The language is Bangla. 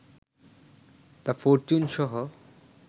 দ্য ফরচুন-সহ